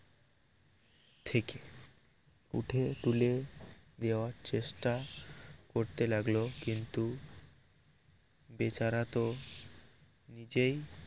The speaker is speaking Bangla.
থেকে উঠে তুলে দেওয়ার চেষ্টা করতে লাগল কিন্তু বেচারা তো নিজেই